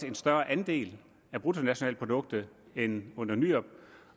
en større andel af bruttonationalproduktet end under nyrup